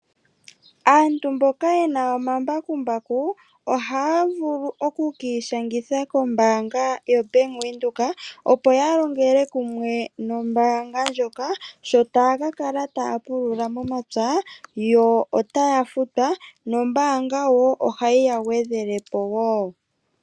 Aantu mboka ye na omambakumbaku ohaya vulu okwiishangitha kombaanga yaNedbank opo yalongele kumwe nombaanga ndjoka, sho taya kakala taya pulula momapya yo otaya futwa. Noombaanga ohayi yagwedhele po woo.